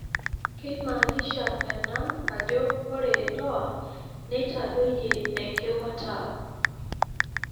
Keimanisha ena ajo ore DOA neitadoyie enkimataa.